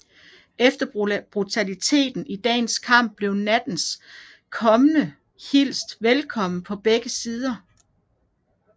Efter brutaliteten i dagens kamp blev nattens komme hilst velkommen på begge sider